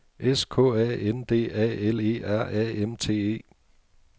S K A N D A L E R A M T E